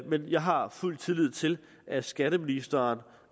men jeg har fuld tillid til at skatteministeren